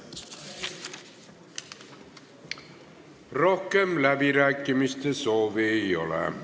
Rohkem läbirääkimiste soovi ei ole.